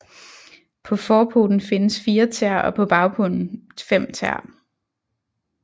På forpoten findes fire tæer og på bagpoten fem tæer